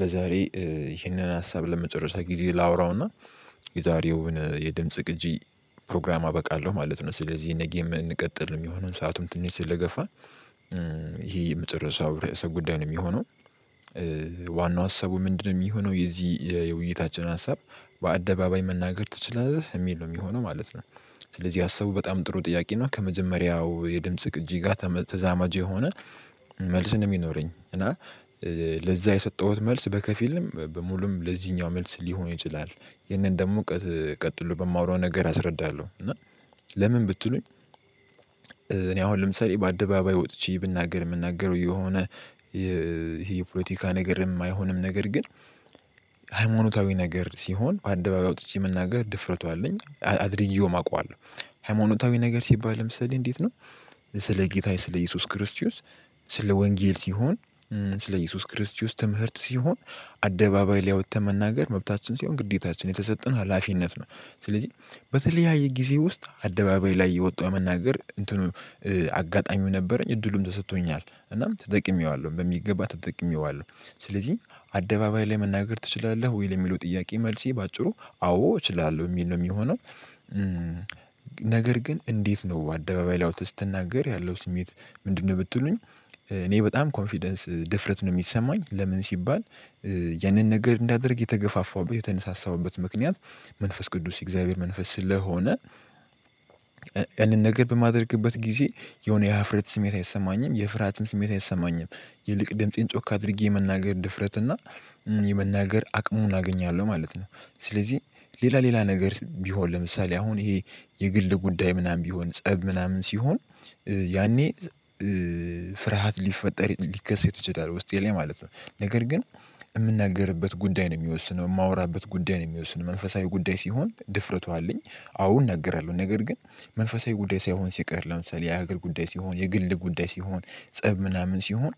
ለዛሬ ይህንን ሀሳብ ለመጨረሻ ጊዜ ላወራውና የዛሬውን የድምጽ ቅጂ ፕሮግራም አበቃለሁ ማለት ነው። ስለዚህ ነገም ምንቀጥል የሚሆነው ሰአቱም ትንሽ ስለገፋ ይሄ የመጨረሻው ርዕሰ ጉዳይ ነው የሚሆነው። ዋናው ሀሳቡ ምንድነው የሚሆነው የዚህ የውይይታችን ሀሳብ በአደባባይ መናገር ትችላለህ የሚል ነው የሚሆነው ማለት ነው። ስለዚህ ሀሰቡ በጣም ጥሩ ጥያቄ ነው ከመጀመሪያው የድምጽ ቅጂ ጋር ተዛማጅ የሆነ መልስ ነው የሚኖረኝ እና ለዛ የሰጠሁት መልስ በከፊልም በሙሉም ለዚህኛው መልስ ሊሆን ይችላል። ይህንን ደግሞ ቀጥሎ በማወራው ነገር አስረዳለሁ እና ለምን ብትሉኝ እኔ አሁን ለምሳሌ በአደባባይ ወጥቼ ብናገር የምናገረው የሆነ ይሄ የፖለቲካ ነገር የማይሆንም ነገር ግን ሃይማኖት ነገር ሲሆን አደባባይ አውጥቼ መናገር ድፍረቱ አለኝ አድርጌውም አውቀዋለሁ ሃይማኖታዊ ነገር ሲባል ለምሳሌ እንዴት ነው? ስለ ጌታዬ ስለ ኢየሱስ ክርስቲዎስ ስለ ወንጌል ሲሆን ስለ ኢየሱስ ክርስቲውስ ትምህርት ሲሆን አደባባይ ላይ ወጠን መናገር መብታችን ሲሆን ግዴታችን የተሰጠን ሀላፊነት ነው። ስለዚህ በተለያየ ጊዜ ውስጥ አደባባይ ላይ የወጣው መናገር እንትኑ አጋጣሚው ነበረኝ እድሉም ተሰጥቶኛል እናም ተጠቅሜዋለሁ በሚገባ ተጠቅሜዋለሁ። ስለዚህ አደባባይ ላይ መናገር ትችላለህ ወይ የሚለው ጥያቄ መልሴ በአጭሩ አዎ እችላለሁ እሚል ነው የሚሆነው። ነገር ግን እንዴት ነው አደባባይ ላይ ወጠህ ስትናገር ያለው ስሜት ምንድነው? ብትሉኝ እኔ በጣም ኮንፊደንስ ድፍረት ነው የሚሰማኝ ለምን ሲባል ያንን ነገር እንዳደርግ የተገፋፋውበት የተነሳሳውበት ምክንያት መንፈስ ቅዱስ የእግዚአብሔር መንፈስ ስለሆነ አንደን ነገር በማደርግበት ጊዜ የሆነ የሀፍረት ስሜት አይሰማኝም የፍርሃትም ስሜት አይሰማኝም ይልቅ ድምፄን ጮክ አድርጌ የመናገር ድፍረት እና የመናገር አቅሙን አገኛለሁ ማለት ነው። ስለዚህ ሌላ ሌላ ነገር ቢሆን ለምሳሌ አሁን ይሄ የግል ጉዳይ ምናምን ቢሆን ፀብ ምናምን ሲሆን ያኔ ፍርሃት ሊፈጠር ሊከሰት ሊከሰት ይችላል ውስጤ ላይ ማለት ነው። ነገር ግን የምንነግርበት ጉዳይ ነው የሚወስነው የማወራበት ጉዳይ ነው የሚወስነው መንፈሳዊ ጉዳይ ሲሆን ድፍረቱ አለኝ። አዎ እነግራለሁ ነገር ግን መንፈሳዊ ጉዳይ ሳይሆን ሲቀር ለምሳሌ የሀገር ጉዳይ ሲሆን የግል ጉዳይ ሲሆን ፀብ ምናምን ሲሆን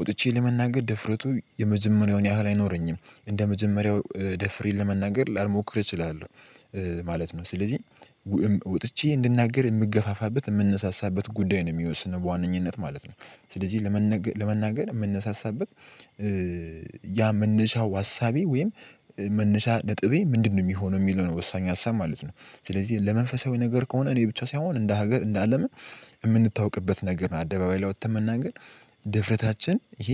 ወጥቼ ለመናገር ድፍረቱ የመዘመናዊውን ያህል አይኖረኝም እንደ መጀመሪያው ደፍሬ ለመናገር ላልሞክር እችላለሁ ማለት ነው። ስለዚህ ወጥቼ እንድናገር የምገፋፋበት የምንሳሳበት ጉዳይ ነው የሚወስነው በዋነኝነት ማለት ነው። ስለዚህ ለመነገር ለመናገር የምንሳሳበት ያ መነሻው አሳቤ ወይም መነሻ ነጥቤ ምንድነው? የሚሆነው የሚለው ነው ወሳኙ ሀሳብ ማለት ነው። ስለዚህ ለመንፈሳዊ ነገር ከሆነ እኔ ብቻ ሳይሆን እንደ ሀገር እንደ አለምም የምንታወቅበት ነገር ነው አደባባይ ላይ ወጥተን መናገር ድፍረታችን ይሄ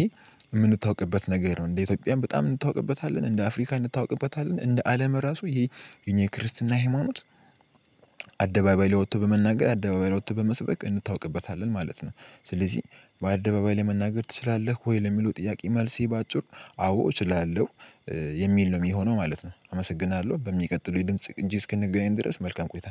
የምንታውቅበት ነገር ነው እንደ ኢትዮጵያም በጣም እንታውቅበታለን እንደ አፍሪካ እንታውቅበታለን እንደ አለም ራሱ ይሄ የኛ የክርስትና ሃይማኖት ወቶ በመናገር አደባባይ ወቶ በመስበክ እንታውቅበታለን ማለት ነው። ስለዚህ በአደባባይ ላይ መናገር ትችላለህ ወይ ለሚለው ጥያቄ መልሴ በአጭር አዎ እችላለሁ የሚል ነው የሚሆነው ማለት ነው። አመሰግናለሁ በሚቀጥለው የድምጽ እጅ እስክንገናኝ ድረስ መልካም ቆይታ